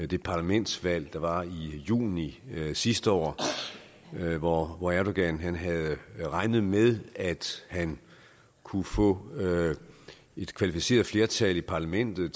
det parlamentsvalg der var i juni sidste år hvor hvor erdogan havde regnet med at han kunne få et kvalificeret flertal i parlamentet